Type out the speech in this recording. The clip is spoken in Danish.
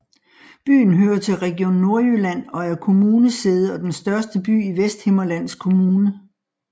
Byen hører til Region Nordjylland og er kommunesæde og den største by i Vesthimmerlands Kommune